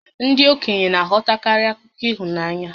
Ndị okenye na-aghọtakarị akụkọ ịhụnanya